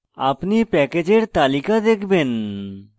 আপনি প্যাকেজের তালিকা দেখবেন